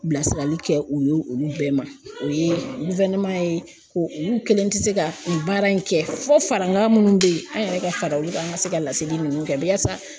Bilasirali kɛ o ye olu bɛɛ ma, o ye ye ko olu kelen tɛ se ka nin baara in kɛ fɔ farakan minnu bɛ yen an yɛrɛ ka fara olu kan, an ka se ka ladeli ninnu kɛ yasa